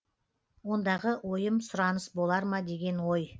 ондағы ойым сұраныс болар ма деген ой